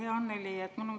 Hea Annely!